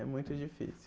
É muito difícil.